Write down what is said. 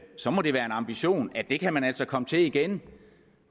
så må det være en ambition at det kan man altså komme til igen